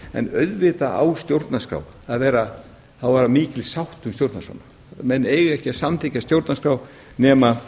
en auðvitað á að vera mikil sátt um stjórnarskrána menn eiga ekki að samþykkja stjórnarskrá nema